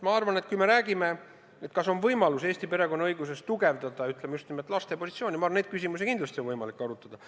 Ma arvan, et kui me räägime, kas on võimalik Eesti perekonnaõiguses tugevdada just nimelt laste positsiooni, siis neid küsimusi oleks kindlasti võimalik arutada.